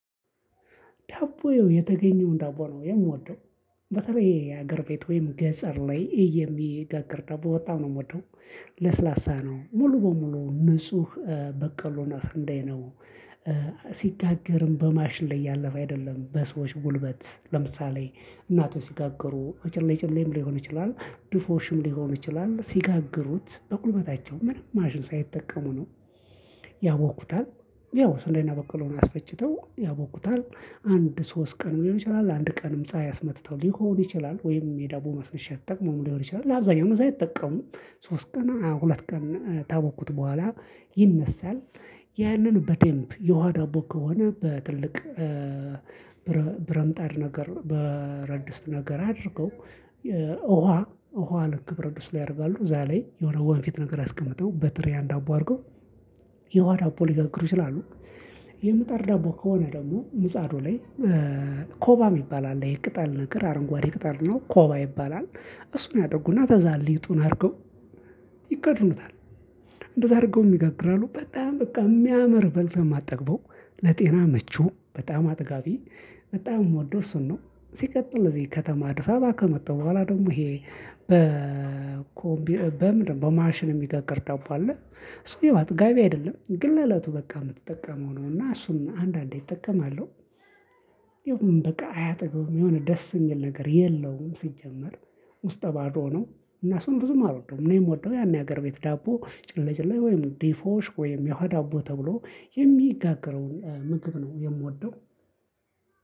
ዳቦ ያው የተገኘውን ዳቦ ነው የምወደው። በተለይ የሀገር ቤት ወይም ገጸር ላይ የሚጋግር ዳቦ በጣም ነው የምወደው። ለስላሳ ነው ሙሉ በሙሉ ንጹህ በቀሎ እና ስንዴ ነው ሲጋገርም በማሽን ላይ ያለፈ አይደለም በሰዎች ጉልበት ለምሳሌ እናቶች ሲጋግሩ በጭሌ ጭሌም ሊሆን ይችላል ድፎርሽም ሊሆን ይችላል ሲጋግሩት በጉልበታቸው ምንም ማሽን ሳይጠቀሙ ነው። ያቦኩታል ያው ስንዴና በቆሎን አስፈጭተው ያቦኩታል አንድ ሶስት ቀንም ሊሆን ይችላል። አንድ ቀንም ፀሀይ አስመትተው ሊሆን ይችላል ወይም የዳቦ ማስነሻ ተጠቅመው ሊሆን ይችላል ለአብዛኛው ጊዜ አይጠቀሙም። ሶስት ቀን ሁለት ቀን ታቦኩት በኋላ ይነሳል። ያንን በደንብ የውሃ ዳቦ ከሆነ በትልቅ ብረምጣድ ነገር ብረድስጥ ነገር አድርገው ውሃ ውሃ ልክ ብረድስጥ ላይ ያደርጋሉ እዛ ላይ የሆነ ወንፊት ነገር አስቀምጠው በትሪ ያን ዳቦ አድርገው የውሃ ዳቦ ሊጋግሩ ይችላሉ። የምጣድ ዳቦ ከሆነ ደግሞ ምጻዱ ላይ ኮባ የሚባል አለ ይሄ ቅጣል ነገር አረንጓዴ ቅጠል ነው ኮባ ይባላል። እሱን ያደርጉና ከዛ ሊጡን አድርገው ይከድኑታል። እንደዛ አድርገውም ይጋግራሉ። በጣም በቃ የሚያምር በልተህ ማጠግበው ለጤና ምቹ በጣም አጥጋቢ በጣም ምወደው እሱን ነው። ሲቀጥል እዚህ ከተማ አዲስ አበባ ከመጣሁ በኋላ ደግሞ ይሄ በ እኮ በምንድነው በማሽን የሚጋግር ደባብ አለ። እሱ ያው አጥጋቢ አይደለም ግን ለእለቱ በቃ የምትጠቀመው ነው እና እሱን አንዳንዴ እጠቀማለሁ። ይኸውም በቃ አያጠግብም የሆነ ደስ የሚል ነገር የለውም ሲጀመር ውስጠ ባዶ ነው። እና እሱን ብዙም አልወደውም እኔ ምወደው ያን የሀገር ቤት ዳቦ ጭለጭላ ወይም ዲፎሽ ወይም የውሃዳቦ ተብሎ የሚጋገረውን ምክብ ነው የምወደው።